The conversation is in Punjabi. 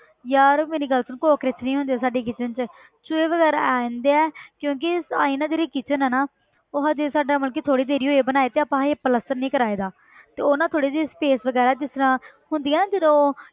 ਯਾਰ ਮੇਰੀ ਗੱਲ ਸੁਣ ਕੋਕਰੋਚ ਨੀ ਹੁੰਦੇ ਸਾਡੀ ਕਿਚਨ 'ਚ ਚੂਹੇ ਵਗ਼ੈਰਾ ਆ ਜਾਂਦੇ ਹੈ ਕਿਉਂਕਿ ਅਸੀਂ ਨਾ ਜਿਹੜੀ kitchen ਹੈ ਨਾ ਉਹ ਹਜੇ ਸਾਡਾ ਥੋੜ੍ਹੀ ਦੇਰ ਹੀ ਹੋਈ ਆ ਬਣਾਏ ਤੇ ਆਪਾਂ ਹਜੇ ਪਲਸਤਰ ਨਹੀਂ ਕਰਾਏਦਾ ਤੇ ਉਹ ਨਾ ਥੋੜ੍ਹੀ ਜਿਹੀ space ਵਗ਼ੈਰਾ ਜਿਸ ਤਰ੍ਹਾਂ ਹੁੰਦੀ ਆ ਨਾ ਜਦੋਂ